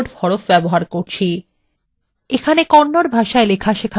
আপনাকে kannada ভাষায় লেখা সেখান হয়েছে